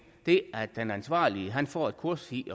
det at den ansvarlige får et kursus i